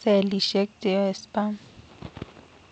cellisiek cheyoe sperm